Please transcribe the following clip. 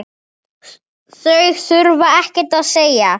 Það þurfti ekkert að segja.